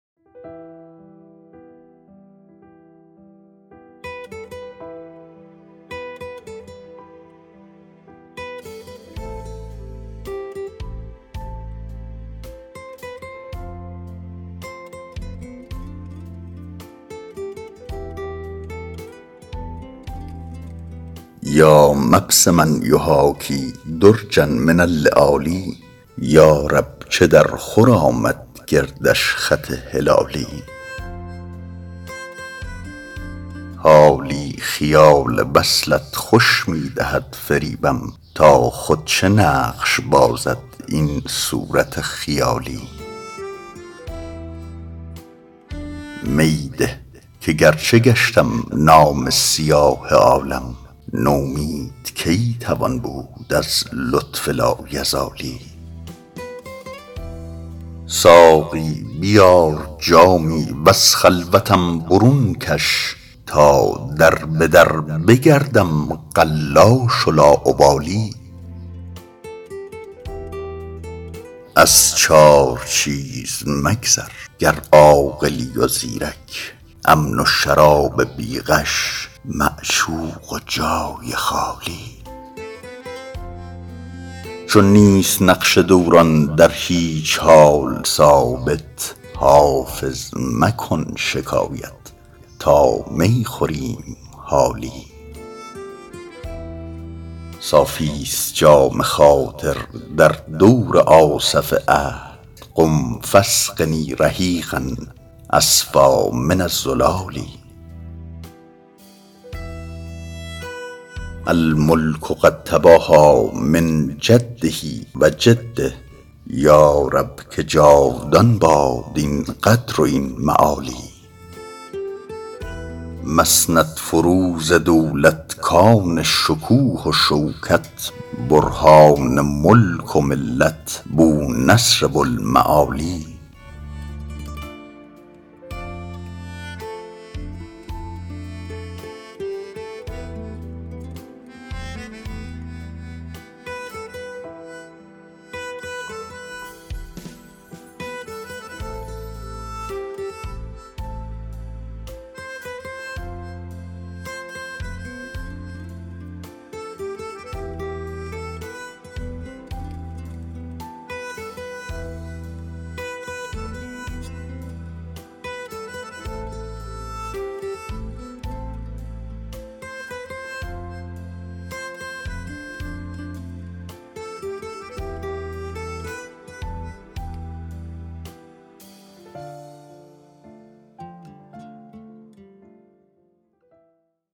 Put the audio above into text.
یا مبسما یحاکی درجا من اللآلی یا رب چه درخور آمد گردش خط هلالی حالی خیال وصلت خوش می دهد فریبم تا خود چه نقش بازد این صورت خیالی می ده که گرچه گشتم نامه سیاه عالم نومید کی توان بود از لطف لایزالی ساقی بیار جامی و از خلوتم برون کش تا در به در بگردم قلاش و لاابالی از چار چیز مگذر گر عاقلی و زیرک امن و شراب بی غش معشوق و جای خالی چون نیست نقش دوران در هیچ حال ثابت حافظ مکن شکایت تا می خوریم حالی صافیست جام خاطر در دور آصف عهد قم فاسقني رحیقا أصفیٰ من الزلال الملک قد تباهیٰ من جده و جده یا رب که جاودان باد این قدر و این معالی مسندفروز دولت کان شکوه و شوکت برهان ملک و ملت بونصر بوالمعالی